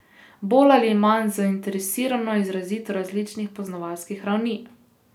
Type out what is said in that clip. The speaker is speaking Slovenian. Bolj ali manj zainteresirano, izrazito različnih poznavalskih ravni.